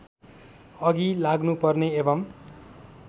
अघि लाग्नुपर्ने एवं